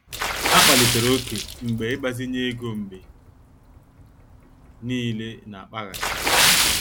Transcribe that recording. Ha kpalitere ókè mgbe ịgbazinye ego mgbe niile na-akpaghasị.